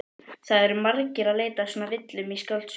Það eru margir að leita að svona villum í skáldsögum.